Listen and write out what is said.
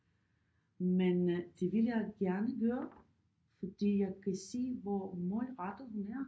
Men det vil jeg gerne gøre fordi jeg kan se hvor målrettet hun er